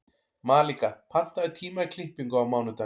Malika, pantaðu tíma í klippingu á mánudaginn.